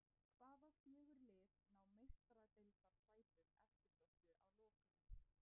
Hvaða fjögur lið ná Meistaradeildarsætunum eftirsóttu að lokum?